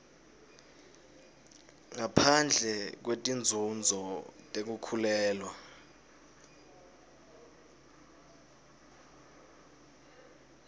ngaphandle kwetinzunzo tekukhulelwa